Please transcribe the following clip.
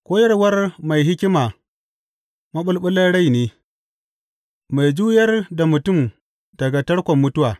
Koyarwar mai hikima maɓulɓulan rai ne, mai juyar da mutum daga tarkon mutuwa.